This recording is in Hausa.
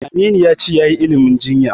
Aminu ya ce yayi ilimin jinya.